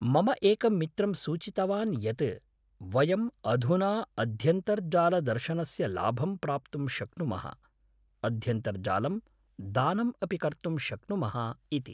मम एकं मित्रं सूचितवान् यत् वयम् अधुना अध्यन्तर्जालदर्शनस्य लाभं प्राप्तुं शक्नुमः, अध्यन्तर्जालं दानम् अपि कर्तुं शक्नुमः इति।